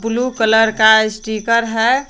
Blue colour का स्टीकर है।